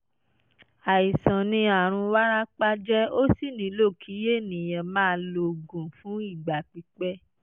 àìsàn ni àrùn wárápá jẹ́ ó sì nílò kí ènìyàn máa lo oògùn fún ìgbà pípẹ́